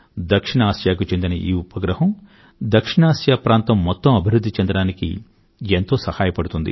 దక్షిణ ఆసియాకు చెందిన ఈ ఉపగ్రహం దక్షిణఆసియా ప్రాంతం మొత్తం అభివృధ్ధి చెందడానికి ఎంతో సహాయపడుతుంది